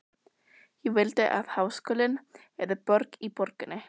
Ég vildi að háskólinn yrði borg í borginni.